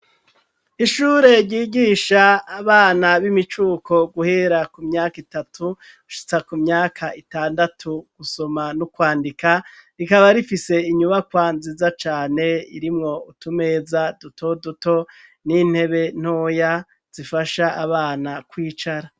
Ishure ryigisha abana b'imicuko guhera ku myaka itatugushitsa ku myaka itandatu gusoma no kwandika rikaba rifise inyubakwa nziza cane irimwo utumeza duto duto n'intebe ntoya zifasha abana kwicara.